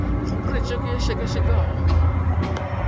go protšeke ye e šekašekwago